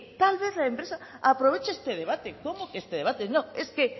tal vez la empresa aprovecha este debate cómo que este debate no es que